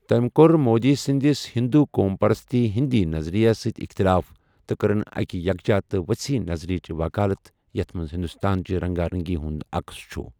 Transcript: تمہ كو٘ر مودی سندِس ہِندوُ قوم پرستی ہندی نظرِیس سۭتۍ اِختلاف ، تہٕ كرٕن اكہِ یكجا تہٕ وصیح نظرِیچہِ وكالت یتھ منز ہِندوستان چہِ رنگا رنگی ہُند عقس چھُ ۔